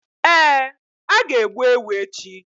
Ee, a ga-egbu ewu echi.